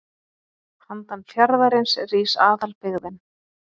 Handan fjarðarins rís aðalbyggðin.